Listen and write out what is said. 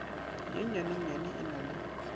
ye nnyanenyane e na le